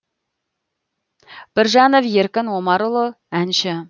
біржанов еркін омарұлы әнші